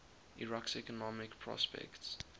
iraq's economic prospects